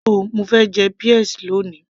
rárá, mo fẹ́ jẹ peas lóni